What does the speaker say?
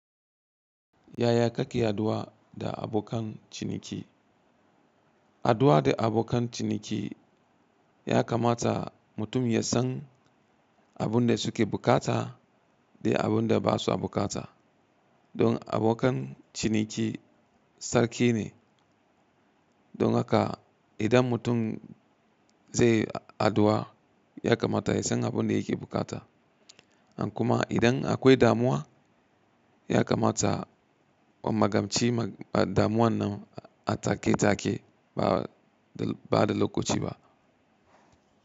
Yaya kake haduwa da abokan ciniki? Haduwa da abokan ciniki ya kamata mutum ya san abin da suke bukata da abin da ba sa bukata. Don abokan ciniki sarki ne, don haka idan mutum zai haduwa, ya kamata ya san abin da yake bukata. In kuma idan akwai damuwa, ya kamata wa magamci damuwan nan a take take ba da lokaci ba.